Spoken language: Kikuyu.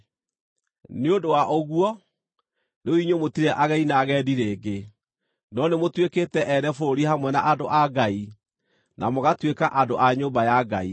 Nĩ ũndũ wa ũguo, rĩu inyuĩ mũtirĩ ageni na agendi rĩngĩ, no nĩmũtuĩkĩte ene bũrũri hamwe na andũ a Ngai, na mũgatuĩka andũ a nyũmba ya Ngai,